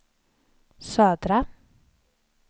södra